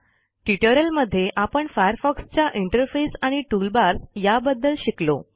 ट्युटोरियलमध्ये आपण फायरफॉक्सच्या इंटरफेस आणि टूलबार्स याबद्दल शिकलो